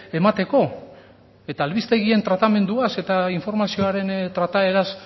emateko eta albistegien tratamenduaz eta informazioaren trataeraz